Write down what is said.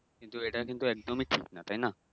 কিন্তু এইটা কিন্তু একদম ই ঠিক নাহ তাইনা